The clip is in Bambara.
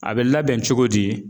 A bɛ labɛn cogo di?